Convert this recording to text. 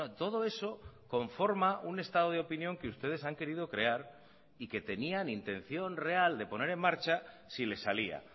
todo eso conforma un estado de opinión que ustedes han querido crear y que tenían intención real de poner en marcha si les salía